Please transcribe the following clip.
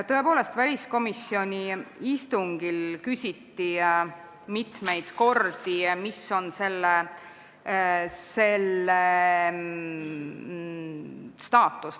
Tõepoolest, väliskomisjoni istungil küsiti mitu korda, milline on selle staatus.